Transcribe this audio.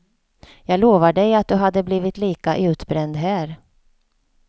Jag lovar dig att du hade blivit lika utbränd här.